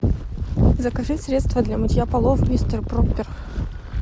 закажи средство для мытья полов мистер проппер